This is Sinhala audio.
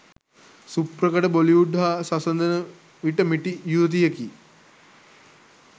සුප්‍රකට බොලිවුඩ් හා සසඳන විට මිටි යුවතියකි